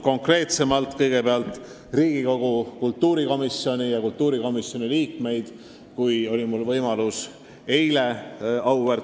Kõigepealt nimetan Riigikogu kultuurikomisjoni, kelle palge ees oli mul võimalus eile olla.